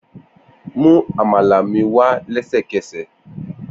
Mu amala mi wa lẹsẹkẹsẹ!